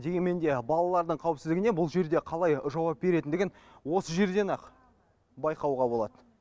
дегенмен де балалардың қауіпсіздігіне бұл жерде қалай жауап беретіндігін осы жерден ақ байқауға болады